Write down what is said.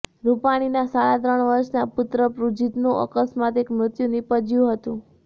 રૂપાણીના સાડા ત્રણ વર્ષના પુત્ર પુજીતનું આકસ્મિક મૃત્યુ નિપજ્યું હતું